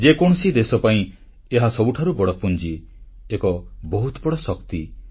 ଯେକୌଣସି ଦେଶ ପାଇଁ ଏହା ସବୁଠାରୁ ବଡ଼ ପୁଞ୍ଜି ଏକ ବହୁତ ବଡ଼ ଶକ୍ତି